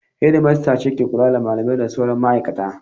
Shedimistres ce ke kula da malamai da sauran ma'aikata.